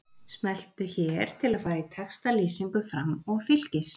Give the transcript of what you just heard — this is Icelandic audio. Smelltu hér til að fara í textalýsingu Fram og Fylkis